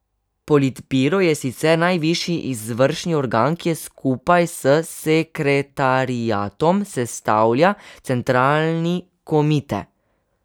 Politbiro je sicer najvišji izvršni organ, ki skupaj s sekretariatom sestavlja centralni komite.